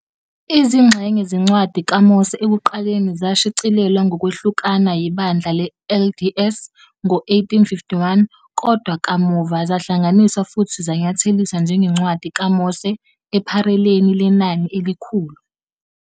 izingxenye zeNcwadi kaMose ekuqaleni zashicilelwa ngokwehlukana yiBandla le-LDS ngo-1851, kodwa kamuva zahlanganiswa futhi zanyatheliswa njengeNcwadi kaMose ePhareleni Lenani eliKhulu.